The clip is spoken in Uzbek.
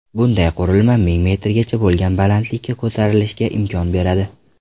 Bunday qurilma ming metrgacha bo‘lgan balandlikka ko‘tarilishga imkon beradi.